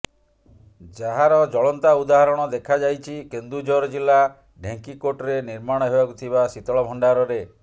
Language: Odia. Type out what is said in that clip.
ଯାହାର ଜଳନ୍ତା ଉଦାହରଣ ଦେଖା ଯାଇଛି କେନ୍ଦୁଝର ଜିଲ୍ଲା ଢେଙ୍କିକୋଟରେ ନିର୍ମାଣ ହେବାକୁ ଥିବା ଶୀତଳ ଭଣ୍ଡାରରେ